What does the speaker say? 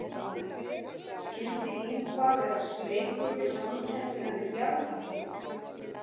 Skyldi Ingvar vera smeykur við samkeppnina við Bjarna Þórð?